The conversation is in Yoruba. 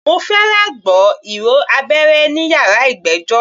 Mo fẹ́rẹ̀ gbọ́ ìró abẹ́rẹ́ ní yàrá ìgbẹ́jọ́.